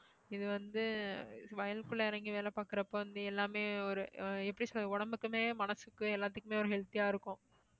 இது வந்து வயலுக்குள்ள இறங்கி வேலை பாக்குறப்போ வந்து எல்லாமே ஒரு அஹ் எப்படி சொல்றது உடம்புக்குமே மனசுக்கு எல்லாத்துக்குமே healthy யா இருக்கும்.